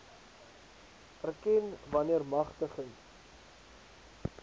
erken wanneer magtiging